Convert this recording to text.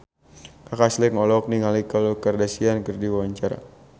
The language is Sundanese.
Kaka Slank olohok ningali Khloe Kardashian keur diwawancara